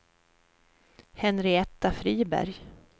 Henrietta Friberg